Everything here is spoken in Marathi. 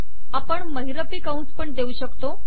आपण महिरपी कंस पण देऊ शकतो